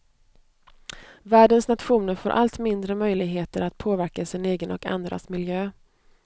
Världens nationer får allt mindre möjligheter att påverka sin egen och andras miljö.